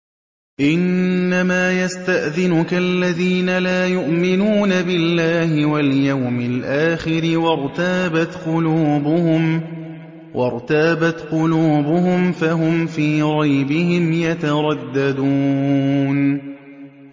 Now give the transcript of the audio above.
إِنَّمَا يَسْتَأْذِنُكَ الَّذِينَ لَا يُؤْمِنُونَ بِاللَّهِ وَالْيَوْمِ الْآخِرِ وَارْتَابَتْ قُلُوبُهُمْ فَهُمْ فِي رَيْبِهِمْ يَتَرَدَّدُونَ